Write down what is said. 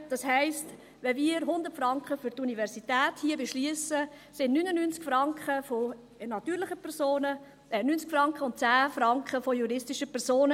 Das heisst, wenn wir hier 100 Franken für die Universität beschliessen, kommen 90 Franken von natürlichen Personen und 10 Franken von juristischen Personen.